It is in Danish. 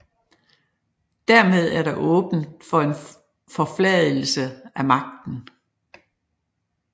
Dermed er der åbnet for en forfladigelse af magten